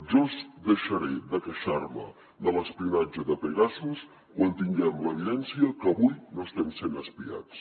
jo deixaré de queixar me de l’espionatge de pegasus quan tinguem l’evidència que avui no estem sent espiats